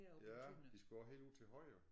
Ja de skulle også helt ud til højre